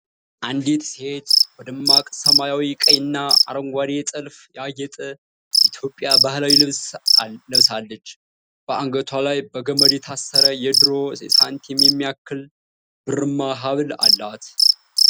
አንዲት ሴት በደማቅ ሰማያዊ፣ ቀይና አረንጓዴ ጥልፍ ያጌጠ የኢትዮጵያ ባህላዊ ልብስ ለብሳለች። በአንገቷ ላይ በገመድ የታሰረ የድሮ ሳንቲም የሚያክል ብርማ ሀብል አላት።